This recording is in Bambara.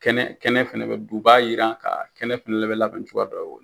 Kɛnɛ kɛnɛ fɛnɛ bɛ dun, u b'a yiran ka, kɛnɛ fɛnɛ bɛ labɛn cogoya dɔ